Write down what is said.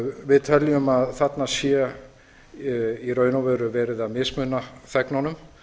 við teljum að þarna sé í raun og veru verið að mismuna þegnunum